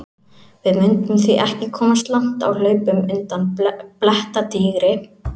Við mundum því ekki komast langt á hlaupum undan blettatígri!